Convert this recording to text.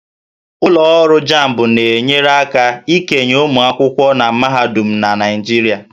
Ụlọ ọrụ JAMB na-enyere aka ikenye ụmụ akwụkwọ na mahadum na Naịjirịa